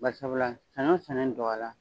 Bari sabula sanɲɔ sɛnɛni dɔgɔya la